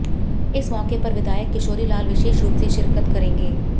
इस मौके पर विधायक किशोरी लाल विशेष रूप से शिरकत करेंगे